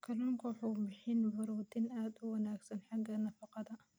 Kalluunku waxa uu bixiyaa borotiin aad u wanaagsan xagga nafaqada.